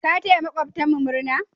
Ka taya maƙwabtan mu murna?